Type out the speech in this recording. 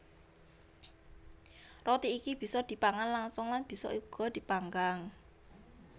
Roti iki bisa dipangan langsung lan bisa uga dipanggang